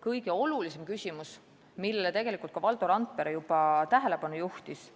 Kõige olulisem küsimus, millele Valdo Randpere juba tähelepanu juhtis,